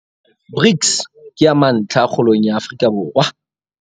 BRICS ke ya mantlha kgolong ya Afrika Borwa